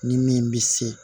Ni min bɛ se